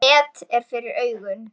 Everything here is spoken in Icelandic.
Net er fyrir augum.